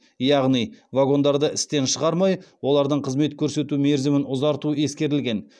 яғни вагондарды істен шығармай олардың қызмет көрсету мерзімін ұзарту ескерілген